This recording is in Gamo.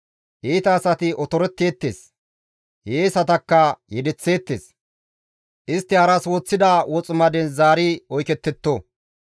Iita asati otoretteettes; hiyeesatakka yedeththeettes; istti haras woththida woximaden zaari oykettetto.